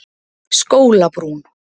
Skólabrún